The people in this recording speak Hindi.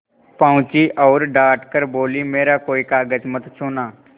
पहुँची और डॉँट कर बोलीमेरा कोई कागज मत छूना